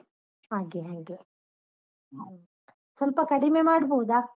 ಹಾಗೆ ಹಾಗೆ. ಹ್ಮ್ ಸ್ವಲ್ಪ ಕಡಿಮೆ ಮಾಡ್ಬೋದಾ?